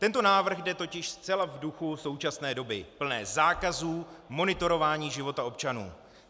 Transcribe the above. Tento návrh jde totiž zcela v duchu současné doby plné zákazů, monitorování života občanů.